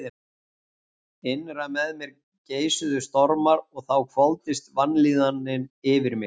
Innra með mér geisuðu stormar og þá hvolfdist vanlíðanin yfir mig.